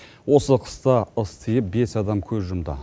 осы қыста ыс тиіп бес адам көз жұмды